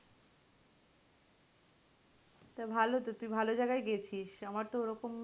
তা ভালো তো তুই তো ভালো জায়গায় গেছিস আমার তো ওরকম,